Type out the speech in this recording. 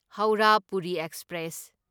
Howrah Puri express